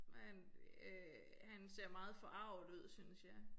Men øh han ser meget forarget ud synes jeg